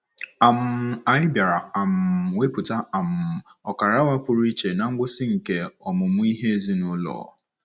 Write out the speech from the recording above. um Anyị bịara um wepụta um ọkara awa pụrụ iche ná ngwụsị nke ọmụmụ ihe ezinụlọ.